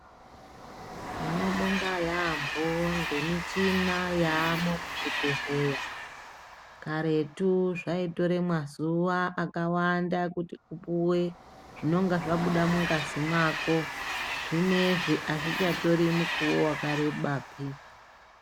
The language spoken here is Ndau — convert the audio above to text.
Inombonga yambo ngemuchina yamo muzvibhedhleya karetu zvaitore mazuva akawanda kuti upuwe nonga zvabuda mungazi mwako zvinezvi azvichatore munguva wakarebapi